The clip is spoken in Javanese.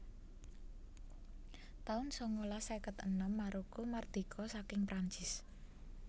taun sangalas seket enem Maroko mardika saking Prancis